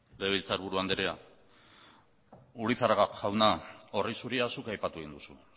legebiltzarburu andrea urizar jauna orri zuria zuk aipatu egin duzu